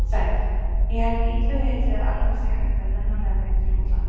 Sæll, ég held illu heilli að Alma sé hætt að nenna með mér til útlanda.